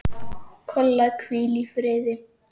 Kolla, hvíl í friði.